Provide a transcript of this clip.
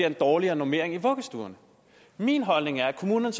en dårligere normering i vuggestuerne min holdning er at kommunerne